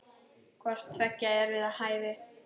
Hvort tveggja er við hæfi.